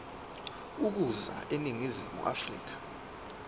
ukuza eningizimu afrika